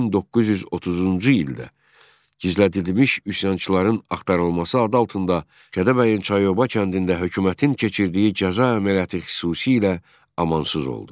1930-cu ildə gizlədilmiş üsyançıların axtarılması adı altında Kəlbəcərin Çayoba kəndində hökumətin keçirdiyi cəza əməliyyatı xüsusilə amansız oldu.